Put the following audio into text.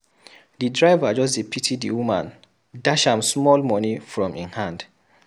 Di driver just pity di woman dash am small moni from im hand.